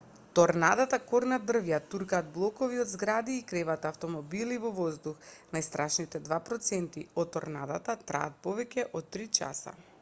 торнадата корнат дрвја туркаат блокови од згради и креваат автмобили во воздух најстрашните два проценти од торнадата траат повеќе од три часа